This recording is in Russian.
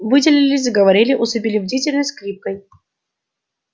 выделили заговорили усыпили бдительность скрипкой